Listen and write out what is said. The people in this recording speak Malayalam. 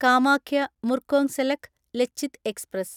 കാമാഖ്യ മുർക്കോങ്സെലെക്ക് ലച്ചിത് എക്സ്പ്രസ്